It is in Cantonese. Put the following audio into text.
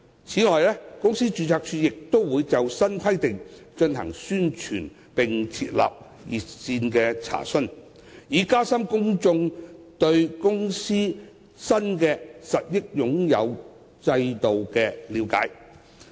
此外，公司註冊處亦會就新規定進行宣傳，並設立查詢熱線，以加深公眾對公司新的實益擁有制度的了解。